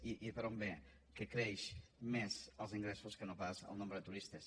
i per on ve que creixen més els ingressos que no pas el nombre de turistes